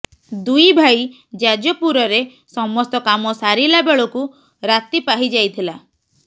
ଦୁଇ ଭାଇ ଯାଜପୁରରେ ସମସ୍ତ କାମ ସାରିଲା ବେଳକୁ ରାତି ପାହିଯାଇଥିଲା